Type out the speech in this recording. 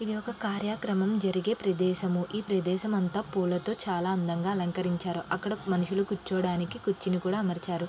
ఇది ఒక కార్యక్రమం జరిగే ప్రదేశం ఈ ప్రదేశం అంత పూలతో చాలా అందంగా అలంకరించారు అక్కడ మనుషులు కూర్చోడానికి కుర్చీని కూడా అమర్చారు.